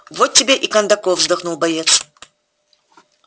вот тебе и кондаков вздохнул боец